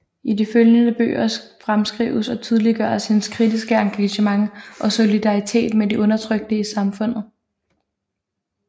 I de efterfølgende bøger fremskrives og tydeliggøres hendes kritiske engagement og solidaritet med de undertrykte i samfundet